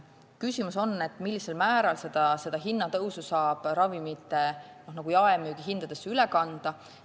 Küsimus on selles, millisel määral saab seda hinnatõusu ravimite jaehindadesse üle kanda.